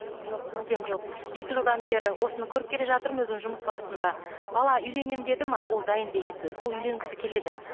жоқ мүлдем жоқ екі жылдан бері осыны көріп келе жатырмын өзім жұмыс барысында бала үйленемін деді ме ол дайын деген сөз ол үйленгісі келеді